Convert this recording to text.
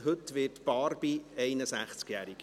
Heute wird Barbie 61-jährig.